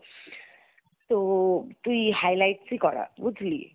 তো তুই highlights ই করা বুঝলি?